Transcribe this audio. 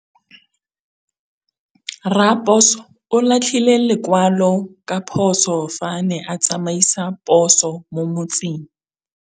Raposo o latlhie lekwalô ka phosô fa a ne a tsamaisa poso mo motseng.